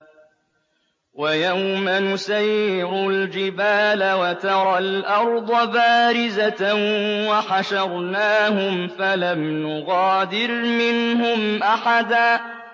وَيَوْمَ نُسَيِّرُ الْجِبَالَ وَتَرَى الْأَرْضَ بَارِزَةً وَحَشَرْنَاهُمْ فَلَمْ نُغَادِرْ مِنْهُمْ أَحَدًا